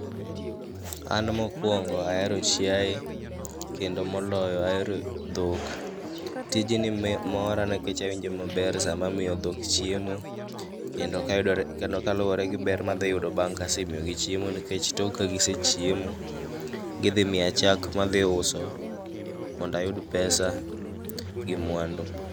An mokwongo ahero chiaye, kendo moloyo ahero dhok. Tijni mora nikech awinjo maber sama amiyo dhok chiemo. Kendo kayudore kendo kaluwore gi ber madhi yudo bang' kasemiyogi chiemo nikech tok kagisechiemo, gidhi miya chak madhi uso. Mondayud pesa gi mwandu.